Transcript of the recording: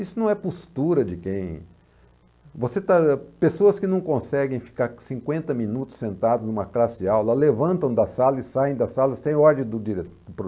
Isso não é postura de quem... Você está, pessoas que não conseguem ficar cinquenta minutos sentadas numa classe de aula, levantam da sala e saem da sala sem ordem do dire do